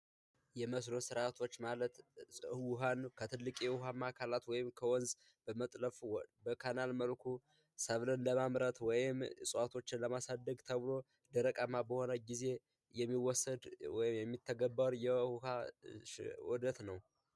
የመስኖ ስርዓቶች ማለት ውሃን ከትልቅዬ ውሃማ ማከላት ወይም ከወንዝ በመጥረፍ በካናል መልኩ ሰብልን ለማምረት ወይም እፅዋቶችን ለማሳደግ ተብሎ ደረቃማ በሆነ ጊዜ የሚወሰድ የሚተገበር የውሃ ውህደት ነው።